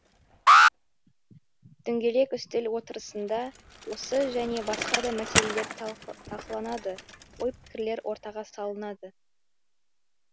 дөңгелек үстел отырысында осы және басқа да мәселелер талқыланды ой пікірлер ортаға салынды